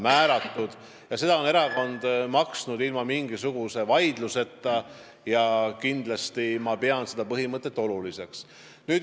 Erakond on seda raha maksnud ilma igasuguse vaidluseta ja seda põhimõtet pean ma väga oluliseks.